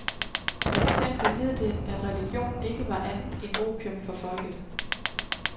For eksempel hed det, at religion ikke var andet end opium for folket.